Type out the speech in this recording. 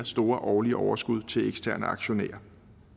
store årlige overskud til eksterne aktionærer